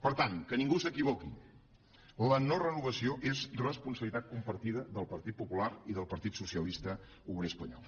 per tant que ningú s’equivoqui la no renovació és responsabilitat compartida del partit popular i del partit socialista obrer espanyol